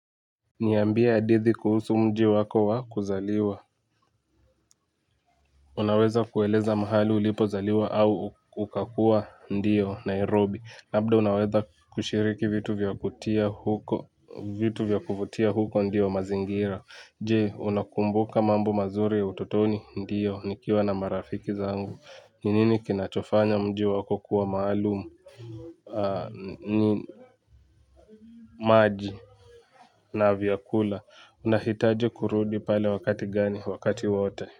Niyambia adithi kuhusu mji wako wa kuzaliwa. Unaweza kueleza mahali ulipo zaliwa au ukakuwa ndiyo Nairobi labda unaweza kushiriki vitu vya kutia huko vitu vya kuvutia huko ndiyo mazingira. Jee unakumbuka mambo mazuri ya ututoni ndiyo nikiwa na marafiki zangu. Ninini kinachofanya mji wako kuwa maalumu ni maji. Na viakula unahitaji kurudi pale wakati gani wakati wote.